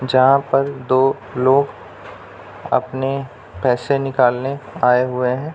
जहाँ पर दो लोग अपने पैसे निकालने आए हुए हैं।